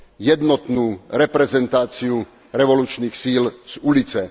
jednotnú reprezentáciu revolučných síl z ulice.